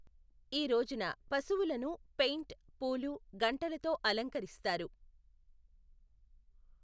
ఈ రోజున పశువులను పెయింట్, పూలు, గంటలతో అలంకరిస్తారు.